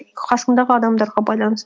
қасыңдағы адамдарға байланысты